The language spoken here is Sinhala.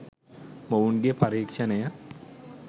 මොවුන්ගේ පරීක්ෂණය